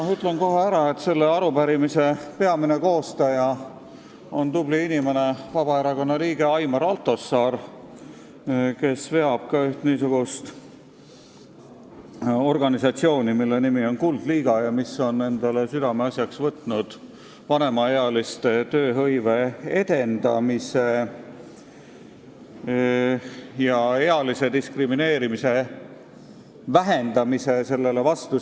Ütlen kohe ära, et selle arupärimise peamine koostaja on tubli inimene, Vabaerakonna liige Aimar Altosaar, kes veab ka ühte organisatsiooni, mille nimi on Kuldliiga, mis on enda südameasjaks võtnud edendada vanemaealiste tööhõivet ning vähendada ealist diskrimineerimist ja seista sellele vastu.